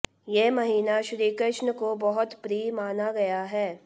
ये महीना श्रीकृष्ण को बहुत प्रिय माना गया है